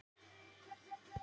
Það rann upp fyrir mér ljós: